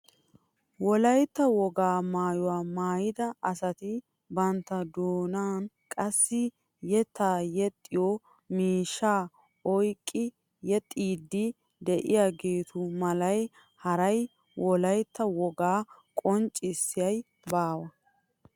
Wolaytta wogaa maayuwaa maayida asati bantta doonan qassi yeettaa yexxiyoo miishshaa oyqqi yexxiidi de'iyaagetu malay haray wolaytta wogaa qonccisiyay baawa!